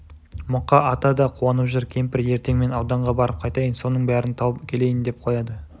мұқа ата да қуанып жүр кемпір ертеңмен ауданға барып қайтайын соның бәрін тауып келейін деп қояды